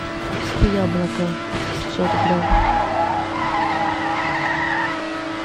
купи яблоко пятьсот грамм